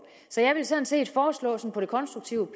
så jeg vil sådan set på det konstruktive